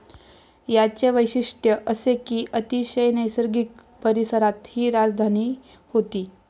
याचे वैशिष्ट्य असे कि अतिशय नैसर्गिक परिसरात हि राजधानी होती.